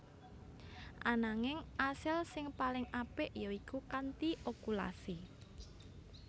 Ananging asil sing paling apik ya iku kanthi okulasi